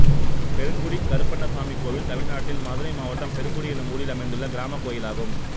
பெருங்குடி கருப்பணசாமி கோயில் தமிழ்நாட்டில் மதுரை மாவட்டம் பெருங்குடி என்னும் ஊரில் அமைந்துள்ள கிராமக் கோயிலாகும்